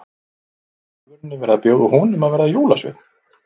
Var í alvörunni verið að bjóða honum að verða jólasveinn?